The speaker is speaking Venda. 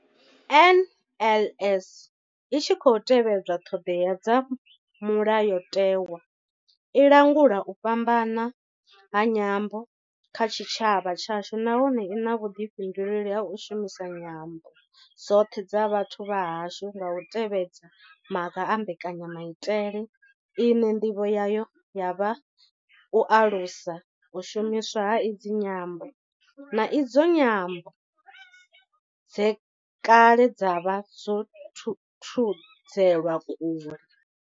NLS I tshi khou tevhedza ṱhodea dza Mulayo tewa, i langula u fhambana ha nyambo kha tshitshavha tshashu nahone I na vhuḓifhinduleli ha u shumisa nyambo dzoṱhe dza vhathu vha hashu nga u tevhedza maga a mbekanya maitele ine ndivho yayo ya vha u alusa u shumiswa ha idzi nyambo, na idzo nyambo dze kale dza vha dzo thudzelwa kule.